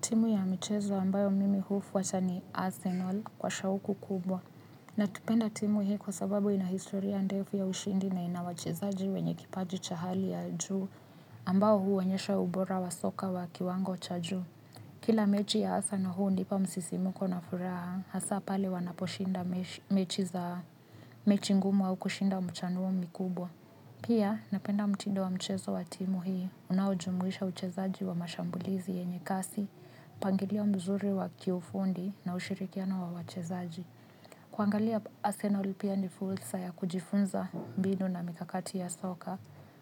Timu ya michezo ambayo mimi hufuata ni Arsenal kwa shauku kubwa. Napenda timu hii kwa sababu ina historia ndefu ya ushindi na ina wachezaji wenye kipaji cha hali ya juu ambao huonyesha ubora wa soka wa kiwango cha juu. Kila mechi ya arsenal hunipa msisimuko na furaha hasa pale wanaposhinda mechi za mechi ngumu au kushinda mchanuo mikubwa. Pia, napenda mtindo wa mchezo wa timu hiyo, unaujumuisha uchezaji wa mashambulizi yenye kasi, mpangilio mzuri wa kiufundi na ushirikiano wa wachezaji. Kuangalia Arsenal pia ni fursa ya kujifunza mbinu na mikakati ya soka,